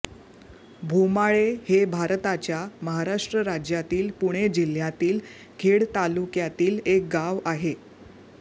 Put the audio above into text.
भोमाळे हे भारताच्या महाराष्ट्र राज्यातील पुणे जिल्ह्यातील खेड तालुक्यातील एक गाव आहे